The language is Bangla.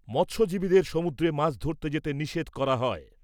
মৎস্যজীবীদের সমুদ্রে মাছ ধরতে যেতে নিষেধ করা হয়।